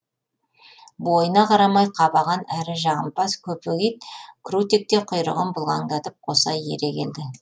бойына қарамай қабаған әрі жағымпаз көпек ит крутик те құйрығын бұлғаңдатып қоса ере келді